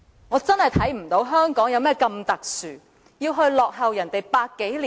我真的看不到香港有何特殊之處，要落後別人百多年。